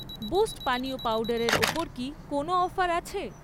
Boost পানীয় পাউডারের ওপর কি কোনও অফার আছে?